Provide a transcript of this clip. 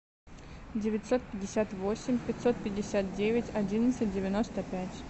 девятьсот пятьдесят восемь пятьсот пятьдесят девять одиннадцать девяносто пять